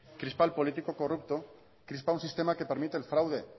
crispa el político corrupto crispa un sistema que permite el fraude